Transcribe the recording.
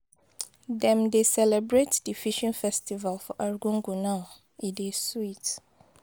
dem dey celebrate the fishing festival for Arukuku now e dey sweet